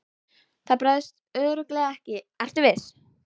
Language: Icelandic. Það bregst örugglega ekki, vertu viss.